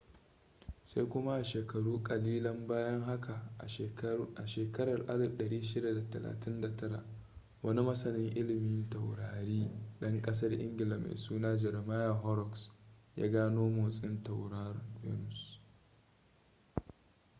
sai kuma a sheakaru kalilian bayan haka a shekarar 1639 wani masanin ililmin taurari dan kasar ingila mai suna jeremiah horrocks ya gano motsin tauraron venus